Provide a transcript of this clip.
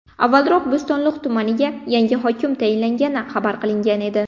Avvalroq Bo‘stonliq tumaniga yangi hokim tayinlangani xabar qilingan edi .